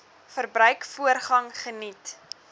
verbruik voorrang geniet